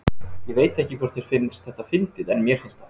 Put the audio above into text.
Ég veit ekki hvort þér finnst þetta fyndið en mér finnst það.